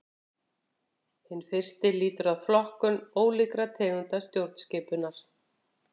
Hinn fyrsti lýtur að flokkun ólíkra tegunda stjórnskipunar.